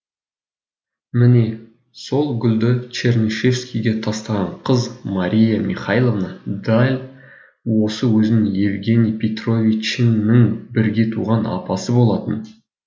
міне сол гүлді чернышевскийге тастаған қыз мария михайловна дәл осы өзіңнің евгений петровичыңның бірге туған апасы болатын